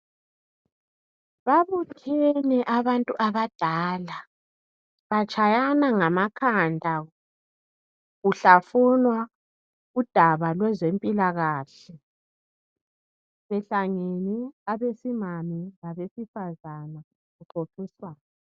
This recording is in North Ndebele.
Babuthene abantu abadala batshayana ngamakhanda kuhlafunwa udaba lwezempilakahle, behlangene abesimame labesifazane kuxoxiswana.